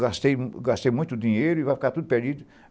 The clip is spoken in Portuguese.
Gastei muito dinheiro e vai ficar tudo perdido.